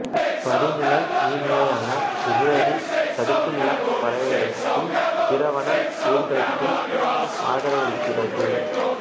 வடிநில நீர்நிலையான இப்பேரேரி சதுப்புநிலப் பறவைகளுக்கும் பிற வன உயிரிகளுக்கும் ஆதரவளிக்கிறது